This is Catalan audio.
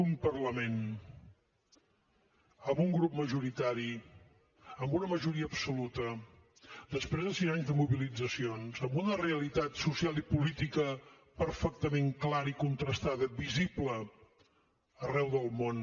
un parlament amb un grup majoritari amb una majoria absoluta després de cinc anys de mobilitzacions amb una realitat social i política perfectament clara i contrastada visible arreu del món